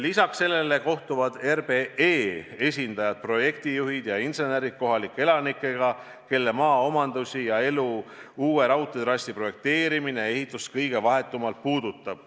Lisaks sellele kohtuvad RBE esindajad, projektijuhid ja insenerid kohalike elanikega, kelle maaomandusi ja elu uue raudteetrassi projekteerimine ja ehitus kõige vahetumalt puudutab.